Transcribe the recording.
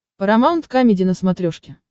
парамаунт камеди на смотрешке